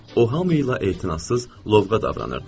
O hamı ilə etinasız lovğa davranırdı.